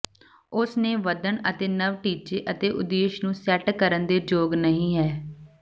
ਉਸ ਨੇ ਵਧਣ ਅਤੇ ਨਵ ਟੀਚੇ ਅਤੇ ਉਦੇਸ਼ ਨੂੰ ਸੈਟ ਕਰਨ ਦੇ ਯੋਗ ਨਹੀ ਹੈ